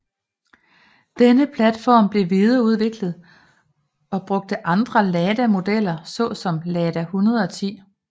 Denne platform blev videreudviklet og brugt andre Lada modeller så som Lada 110